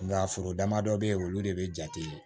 Nka foro dama dɔ bɛ yen olu de bɛ jate